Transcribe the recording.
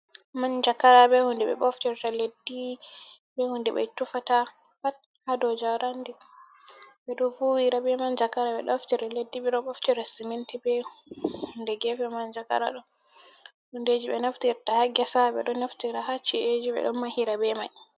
Manjagara be hunde ɓe ɓoftirta leddi, be hunde ɓe tufata pat haa dou jarandi. Ɓe ɗo vuwira be manjagara, ɓe ɗo ɓoftira leddi, ɓe ɗo boftira siminti be hunde gefe manjagara ɗo. Hundeeji ɓe naftirta haa gesa, ɓe ɗo naftira haa ci'eji, ɓe ɗo mahira be mai.